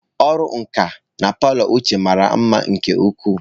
Ọrụ nka na palọ Uche mara mma nke ukwuu.